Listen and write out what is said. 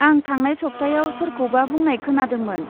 आं थांनाय सप्तायाव सोरखौबा बुंनाय खोनादोंमोन।